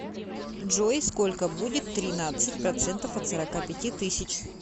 джой сколько будет тринадцать процентов от сорока пяти тысяч